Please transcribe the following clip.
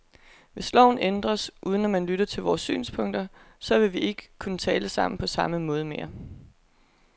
Hvis loven ændres, uden at man lytter til vores synspunkter, så vil vi ikke kunne tale sammen på samme måde mere.